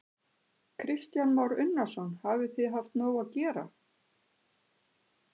Kristján Már Unnarsson: Hafið þið haft nóg að gera?